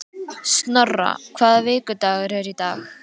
Snorra, hvaða vikudagur er í dag?